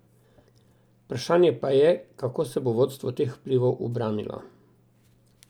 Vprašanje pa je, kako se bo vodstvo teh vplivov ubranilo.